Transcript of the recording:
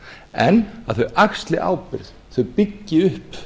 en að þau axli ábyrgð þau byggi upp